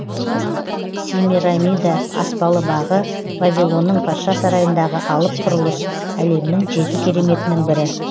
семирамида аспалы бағы вавилонның патша сарайындағы алып құрылыс әлемнің жеті кереметінің бірі